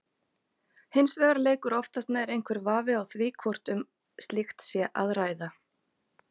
Hins vegar leikur oftast nær einhver vafi á því hvort um slíkt sé að ræða.